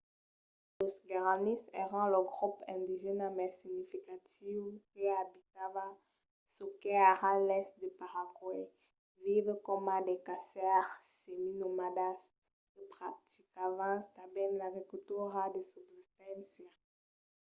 los guaranís èran lo grop indigèna mai significatiu que abitava çò qu'es ara l'èst de paraguai vivent coma de caçaires seminomadas que practicavan tanben l’agricultura de subsisténcia